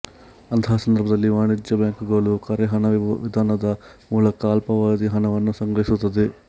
ಅಂತಹ ಸಂದರ್ಭದಲ್ಲಿ ವಾಣಿಜ್ಯ ಬ್ಯಾಂಕುಗಳು ಕರೆಹಣ ವಿಧಾನದ ಮೂಲಕ ಅಲ್ಪಾವಧಿ ಹಣವನ್ನು ಸಂಗ್ರಹಿಸುತ್ತದೆ